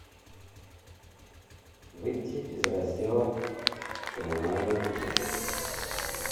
выйти из раздела коммунальные платежи